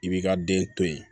I b'i ka den to yen